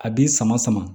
A bi sama sama